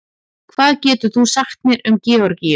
hvað getur þú sagt mér um georgíu